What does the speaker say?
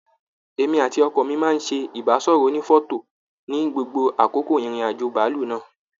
Èmi àti ọkọ mi máa ṣé ibasọrọ ònífọ̀tò ní gbogbo àkókò ìrìn àjò bàálù náà.